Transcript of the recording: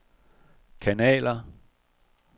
kanaler